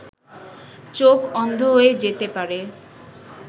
চোখ অন্ধ হয়ে যেতে পারে